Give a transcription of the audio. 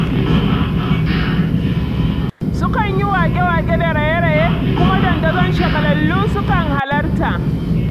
Sukan yi waƙe-waƙe da raye-raye, kuma dandazon shagalallu sukan halarta.